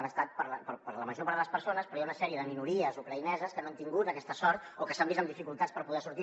han estat per a la major part de les persones però hi ha una sèrie de minories ucraïneses que no han tingut aquesta sort o que s’han vist amb dificultats per poder sortir